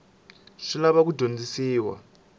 swi lava ku dyondzisiwa ni